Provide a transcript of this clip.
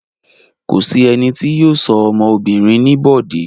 Kò sí ẹni tí yóò sọ ọmọ obìnrin ní Bọ̀dé.